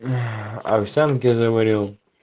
овсянки заварил